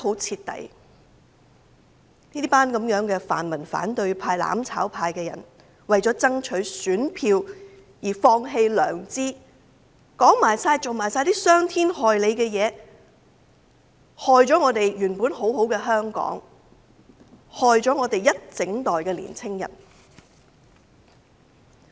這群泛民反對派、"攬炒派"把市民欺騙得很徹底，為了爭取選票，放棄了良知，說出及做出傷天害理之事，損害了我們原本很美好的香港，亦傷害了我們一整代的青年人。